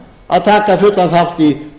að taka fullan þátt í